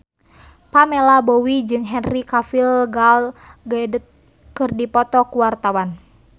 Pamela Bowie jeung Henry Cavill Gal Gadot keur dipoto ku wartawan